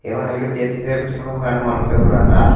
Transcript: ఏమైనా హెల్ప్ చేస్తే చేపిచ్చుకుందాం లాంటె మనకు సదువు రాదా.